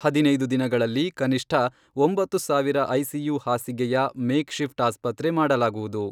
ಹದಿನೈದು ದಿನಗಳಲ್ಲಿ ಕನಿಷ್ಠ ಒಂಬತ್ತು ಸಾವಿರ ಐಸಿಯು ಹಾಸಿಗೆಯ ಮೇಕ್ ಶಿಫ್ಟ್ ಆಸ್ಪತ್ರೆ ಮಾಡಲಾಗುವುದು.